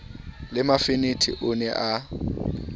le mafenethe o ne a